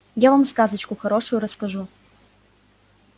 я вам сказочку хорошую расскажу